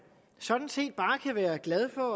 sådan set bare kan være glad for